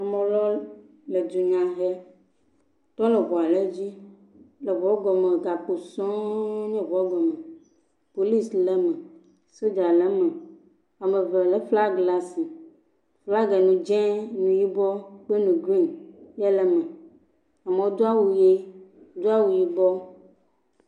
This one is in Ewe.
Amelɔ le dunya he, yiole ŋua le dzi, eŋuɔ gɔme gakpo sɔ̃ɔ nye ŋuɔ gɔme, polis le me, soja le me, ame lé flag le asi, flagɛ nu dz0 kpli nu yibɔ, kpli nu grin yele me. Amɔ do awu ʋe, do awu yibɔ.